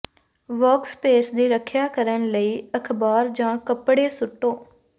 workspace ਦੀ ਰੱਖਿਆ ਕਰਨ ਲਈ ਅਖਬਾਰ ਜਾਂ ਕਪੜੇ ਸੁੱਟੋ